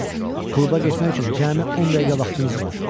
Kluba getmək üçün cəmi 10 dəqiqə vaxtınız var.